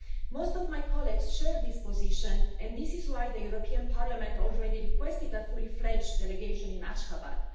Most of my colleagues share this position, and this is why the European Parliament has already requested a fully fledged delegation in Ashgabat.